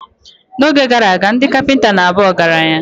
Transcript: N’oge gara aga, ndị kapinta na abu ọgaranya.